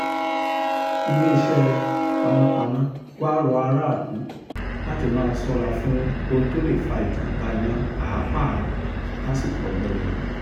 iléeṣẹ́ panápaná wàá rọ aráàlú láti máa ṣọ́ra fún ohun tó lè fa ìjàm̀bá iná pàápàá lásìkò ọ̀gbẹlẹ̀ yìí